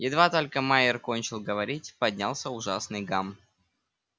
едва только майер кончил говорить поднялся ужасный гам